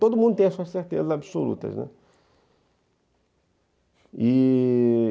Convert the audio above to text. Todo mundo tem as suas certezas absolutas, né? E...